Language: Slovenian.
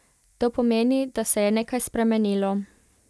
To pomeni, da se je nekaj spremenilo.